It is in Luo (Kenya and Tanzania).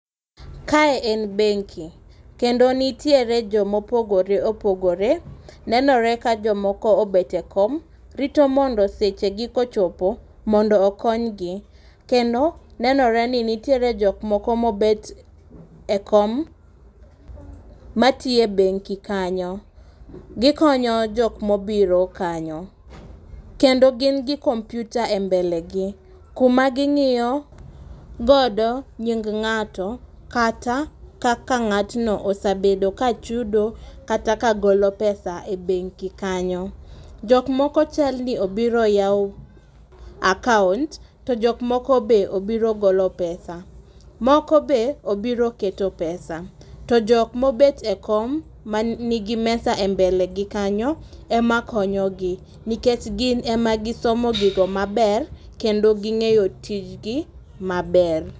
Kae en benki. Kendo nitiere joma opogore opogore. Nenore ka jomoko obet e kom, rito mondo seche gi kochopo mondo okonygi. Kendo nenore ni nitiere jok moko ma obet e kom, ma tiye benki kanyo. Gikonyo jokma obiro kanyo. Kendo gin gi computer e mbele gi. Kuma gingíyo godo nying ngáto, kata kaka ngátno osebedo ka chudo kata ka golo pesa e benki kanyo. Jok moko chalni obiro yawo account to jokmoko be obiro golo pesa. Moko be obiro keto pesa. To jok ma obet e kom ma nigi mesa e mbele go kanyo ema konyo gi. Nikech gin ema gisomo gigo maber, kendo gingéyo tijgi maber.